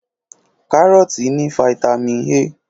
Kárọ́tì ní fataímìn A.